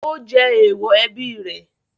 Ó jẹ èèwọ̀ ẹbí rẹ̀?